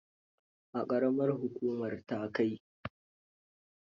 A ƙaramar hukumar Takai.